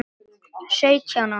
Sautján ára.